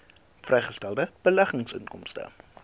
vrygestelde beleggingsinkomste